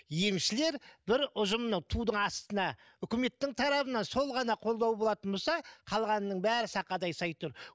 емшілер бір ұжымның тудың астына үкіметтің тарапынан сол ғана қолдау болатын болса қалғанының бәрі сақадай сай тұр